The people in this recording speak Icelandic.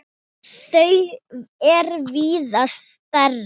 Þau er víða stærri.